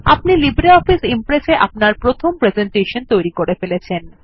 আপনি LibreOffice Impress এ আপনার প্রথম প্রেসেন্টেশন তৈরী করে ফেলেছেন